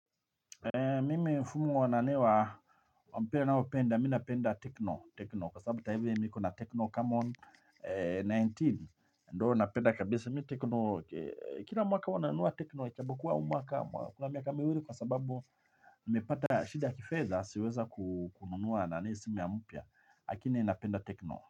Mimi mfumo wa nanewa nao penda, mi napenda Tecno, Tecno, kwa sababu hivi mimi niko na Tecno camon kumi na tisa, ndo napenda kabisa mi Tekno, kila mwaka wananunua Tecno, ijapo kuwa huu mwaka, kuna miaka miwili kwa sababu, nimepata shida ya kifedha sijaweza kununua nani simu mpya, lakini napenda Tecno.